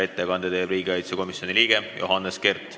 Ettekande teeb riigikaitsekomisjoni liige Johannes Kert.